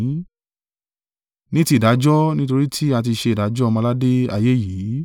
Ní ti ìdájọ́, nítorí tí a ti ṣe ìdájọ́ ọmọ-aládé ayé yìí.